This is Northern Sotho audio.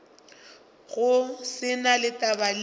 go se na taba le